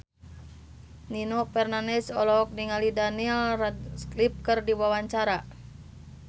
Nino Fernandez olohok ningali Daniel Radcliffe keur diwawancara